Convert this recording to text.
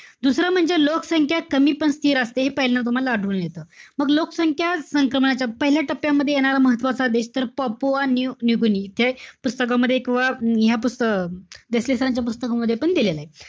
दुसरं म्हणजे, लोकसंख्या कमी पण स्थिर असते हे पहिल्यांदा तूम्हाला आढळून येत. मग लोकसंख्या संक्रमणाच्या पहिल्या टप्प्यामध्ये येणारा महत्वाचा देश तर, पपोवा, न्यू गिनी. हे पुस्तकामध्ये किंवा ह्या पुस्तका~ देसले sir रांच्या पुस्तकांमध्येपण दिलेलंय.